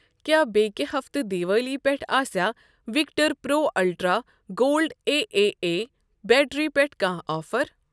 کیٛاہ بیٚکہِ ہفتہٕ دِوالی پٮ۪ٹھ آسیاہ Victor pro ultra gold A A A battery پٮ۪ٹھ کانٛہہ آفر؟